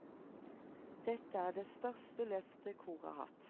Dette er det største løftet koret har hatt.